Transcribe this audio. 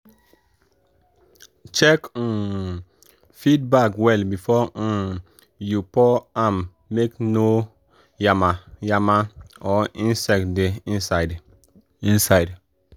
check um feed bag well before um you pour am make no yama-yama or insect dey inside. inside.